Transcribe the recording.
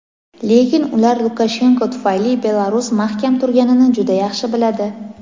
lekin ular Lukashenko tufayli Belarus mahkam turganini juda yaxshi biladi.